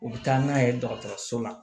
U bɛ taa n'a ye dɔgɔtɔrɔso la